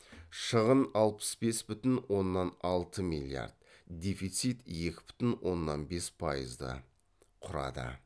шығын алпыс бес бүтін оннан алты миллиард дефицит екі бүтін оннан бес пайызды құрады